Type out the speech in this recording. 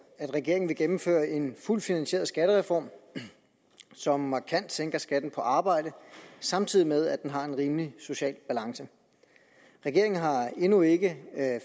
at regeringen vil gennemføre en fuldt finansieret skattereform som markant sænker skatten på arbejde samtidig med at den har en rimelig social balance regeringen har endnu ikke